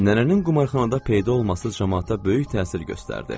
Nənənin qumarxanada peyda olması camaata böyük təsir göstərdi.